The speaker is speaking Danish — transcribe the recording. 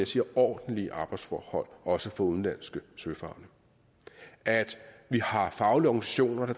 siger ordentlige arbejdsforhold også for udenlandske søfarende at vi har faglige organisationer